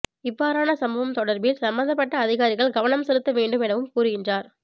இவ்வாறான சம்பவம் தொடர்பில் சம்மந்தப்பட்ட அதிகாரிகள் கவனம் செலுத்த வேண்டும் எனவும் குாருகின்றனர்